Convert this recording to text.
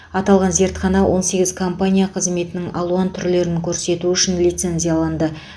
аталған зертхана он сегіз компания қызметтің алуан түрлерін көрсету үшін лицензияланды